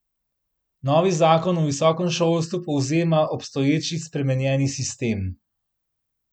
Novi zakon o visokem šolstvu povzema obstoječi spremenjeni sistem.